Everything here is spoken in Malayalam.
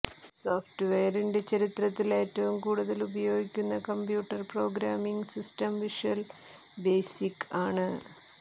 സോഫ്റ്റ്വെയറിന്റെ ചരിത്രത്തിൽ ഏറ്റവും കൂടുതൽ ഉപയോഗിക്കുന്ന computer programming system visual basic ആണ്